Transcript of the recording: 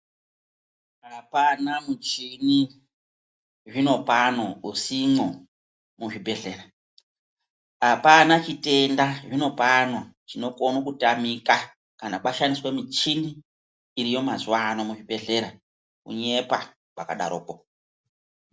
Hapana muchini zvinopano usimwo muzvibhedhlera. Hapana chitenda zvinopano chinokono kutamika kana kwashandiswa michini iriyo mazuwa ano muzvibhedhlera, kunyepa kwakadaroko!